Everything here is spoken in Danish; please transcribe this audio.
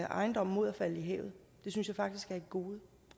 ejendom mod at falde i havet det synes jeg faktisk er et gode